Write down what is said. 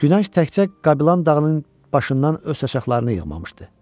Günəş təkcə Qabilan dağının başından öz şaqlarını yığmamışdı.